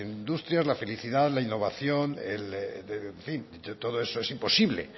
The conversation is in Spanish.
industrias la felicidad la innovación en fin todo eso es imposible